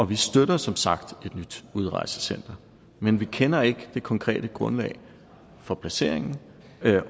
vi støtter som sagt et nyt udrejsecentre men vi kender ikke det konkrete grundlag for placeringen